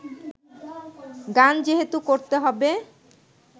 গান যেহেতু করতে হবে